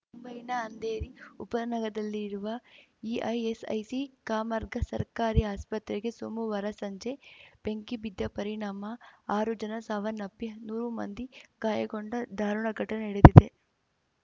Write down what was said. ಮುಂಬೈನ ಅಂಧೇರಿ ಉಪನಗರದಲ್ಲಿರುವ ಇಐಸ್‌ಐಸಿ ಕಾಮರ್ಗಾ ಸರ್ಕಾರಿ ಆಸ್ಪತ್ರೆಗೆ ಸೋಮವಾರ ಸಂಜೆ ಬೆಂಕಿ ಬಿದ್ದ ಪರಿಣಾಮ ಆರು ಜನ ಸಾವನ್ನಪ್ಪಿ ನೂರು ಮಂದಿ ಗಾಯಗೊಂಡ ದಾರುಣ ಘಟನೆ ನಡೆದಿದೆ